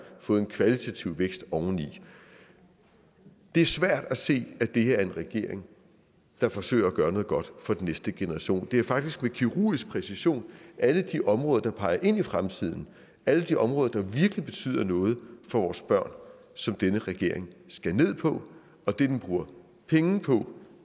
fået en kvalitativ vækst oveni det er svært at se at det her er en regering der forsøger at gøre noget godt for den næste generation det er faktisk med kirurgisk præcision alle de områder der peger ind i fremtiden alle de områder der virkelig betyder noget for vores børn som denne regering skærer ned på og det den bruger penge på